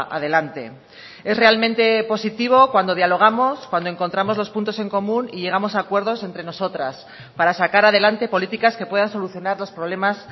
adelante es realmente positivo cuando dialogamos cuando encontramos los puntos en común y llegamos a acuerdos entre nosotras para sacar adelante políticas que puedan solucionar los problemas